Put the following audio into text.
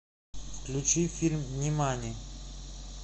включи фильм нимани